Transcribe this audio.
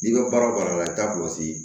N'i ka baara la i t'a kɔlɔsi